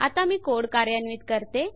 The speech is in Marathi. आता मी कोड कार्यान्वित करते